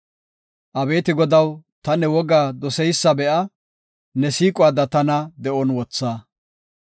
Abeeti Godaw, ta ne wogaa doseysa be7a; ne siiquwada tana de7on wotha.